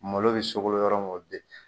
Malo bɛ sogolon yɔrɔ min o bɛ yen.